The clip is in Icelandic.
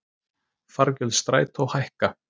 Fargjöld Strætó hækka